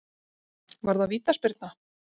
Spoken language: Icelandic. Var það vítaspyrna?